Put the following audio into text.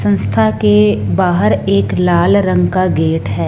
संस्था के बाहर एक लाल रंग का गेट है।